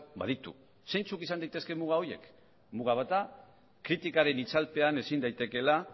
baditu zeintzuk izan daitezke muga horiek muga bat da kritikaren itzalpean ezin daitekeela